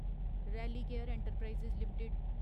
Religare enterprises limited